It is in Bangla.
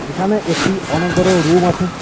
এখানে একটি অনেক বড় রুম আছে।